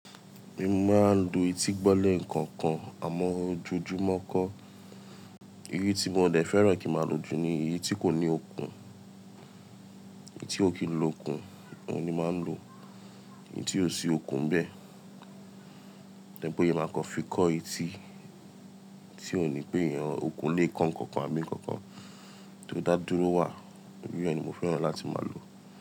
Mo máa ń lo eti gbọ́ leekookan àmọ́ ojoojùmọ́ kọ́. Iru i tí mo dẹ̀ fẹ́ràn kí n máa lò jù ni eyi tí kò ní okùn, èyí tí ò kí ń lo okùn oun ni máa ń lò, èyí tí ò sí okùn n bẹ́. To je pe máa kan fi kọ́ eti tí ò ní péyàn okùn lè kán nǹkan kan abi nǹkan kan tí ó dá dúró wà. Irú iyen ni mo fẹ́ràn láti máa lò.